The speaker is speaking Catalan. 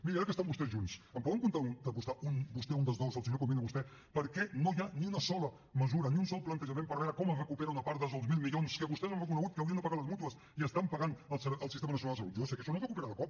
miri ara que estan vostès junts em poden contestar un dels dos el senyor comín o vostè per què no hi ha ni una sola mesura ni un sol plantejament per veure com es recupera una part dels dos mil milions que vostès han reconegut que haurien de pagar les mútues i que està pagant el sistema nacional de salut jo ja sé que això no es recupera de cop